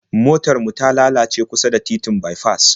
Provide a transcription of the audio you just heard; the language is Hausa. Motar mu da lalace kusa da titin baifas